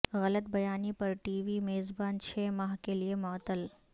غلط بیانی پر ٹی وی میزبان چھ ماہ کے لیے معطل